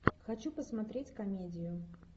хочу посмотреть комедию